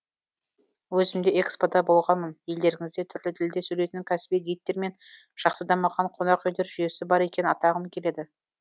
өзім де экспо да болғанмын елдеріңізде түрлі тілде сөйлейтін кәсіби гидтер мен жақсы дамыған қонақүйлер жүйесі бар екенін атағым келеді